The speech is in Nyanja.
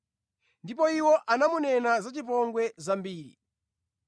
Ndipo iwo anamunena zachipongwe zambiri.